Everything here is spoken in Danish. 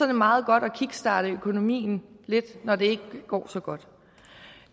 det meget godt at kickstarte økonomien når det ikke går så godt